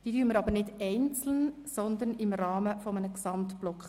Wir behandeln diese Geschäfte nicht einzeln, sondern im Rahmen eines gesamten Blocks.